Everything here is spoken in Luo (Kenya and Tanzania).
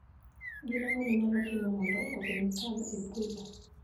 Gin ang'o minyalo timo mondo ogeng' kal e brooder.